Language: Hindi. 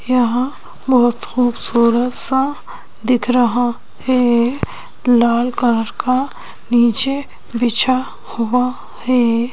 यहां बहुत खूबसूरत सा दिख रहा है लाल कलर का नीचे बिछा हुआ है।